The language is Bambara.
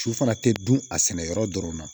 Su fana tɛ dun a sɛnɛyɔrɔ dɔrɔn na